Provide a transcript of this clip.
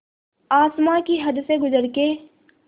आसमां की हद से गुज़र के